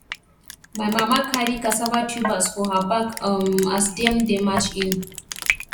my mama carry cassava tubers for her back um as dem dey march in